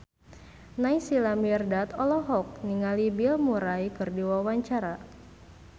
Naysila Mirdad olohok ningali Bill Murray keur diwawancara